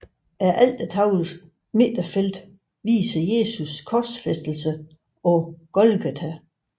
Altertavlens midterfelt viser Jesu korsfæstelse på Golgata